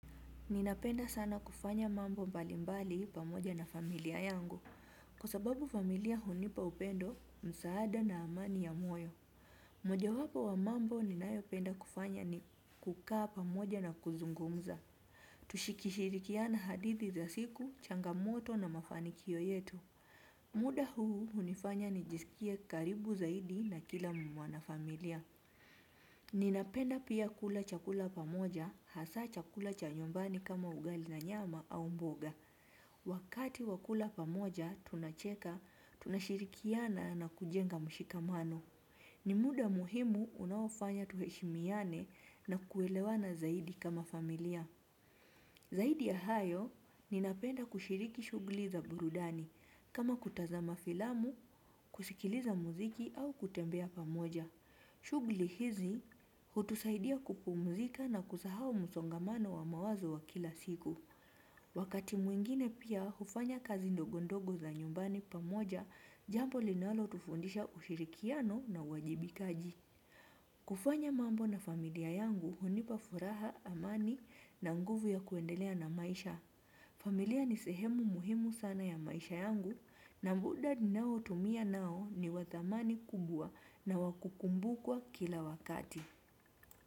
Ninapenda sana kufanya mambo mbalimbali pamoja na familia yangu. Kwa sababu familia hunipa upendo, msaada na amani ya moyo. Mojawapo wa mambo ninayopenda kufanya ni kukaa pamoja na kuzungumza. Tukishirikiana hadithi za siku, changamoto na mafanikio yetu. Muda huu hunifanya nijisikie karibu zaidi na kila mwana familia. Ninapenda pia kula chakula pamoja hasa chakula cha nyumbani kama ugali na nyama au mboga. Wakati wa kula pamoja tunacheka tunashirikiana na kujenga mshikamano. Ni muda muhimu unaofanya tuheshimiane na kuelewana zaidi kama familia. Zaidi ya hayo ninapenda kushiriki shughuli za burudani kama kutazama filamu, kusikiliza muziki au kutembea pamoja. Shughuli hizi hutusaidia kupumzika na kusahau msongamano wa mawazo wa kila siku. Wakati mwingine pia hufanya kazi ndogondogo za nyumbani pamoja jambo linalotufundisha ushirikiano na uwajibikaji. Kufanya mambo na familia yangu hunipa furaha amani na nguvu ya kuendelea na maisha. Familia ni sehemu muhimu sana ya maisha yangu na muda ninaotumia nao ni wa thamani kubwa na wa kukumbukwa kila wakati.